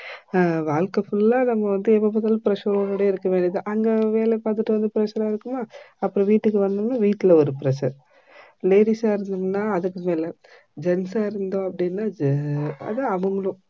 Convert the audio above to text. அஹ் வாழ்க்கை full ஆ நம்ம வந்து எப்போப்பாத்தாலும் pressure ஓடே இருக்க வேண்டிதா. அங்க வேல பாத்துட்டு வந்து pressure ஆ இருக்குமா அப்போ வீட்டுக்கு வந்தோம்னா வீட்டுல ஒரு pressure ladies ஆ இருதோம்ன்னா அதுக்கும் மேல jeans ஆ இத்தோம்னா அதா அவர்களும்